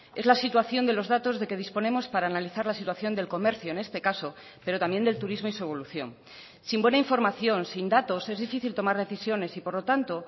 es la situación de los datos de que disponemos para analizar la situación del comercio en este caso pero también del turismo y su evolución sin buena información sin datos es difícil tomar decisiones y por lo tanto